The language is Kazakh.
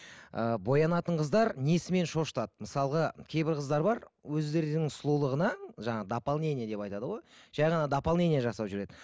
ы боянатын қыздар несімен шошытады мысалға кейбір қыздар бар өздерінің сұлулығына жаңағы дополнение деп айтады ғой жай ғана дополнение жасап жүреді